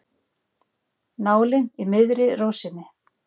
Nálin í miðri rósinni.